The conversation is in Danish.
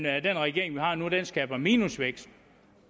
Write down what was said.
at den regering vi har nu nu skaber minusvækst